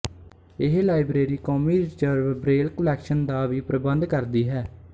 ਇਹ ਲਾਇਬਰੇਰੀ ਕੌਮੀ reserve Braille collection ਦਾ ਵੀ ਪ੍ਰਬੰਧ ਕਰਦੀ ਹੈ